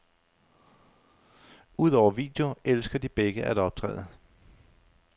Udover video elsker de begge at optræde.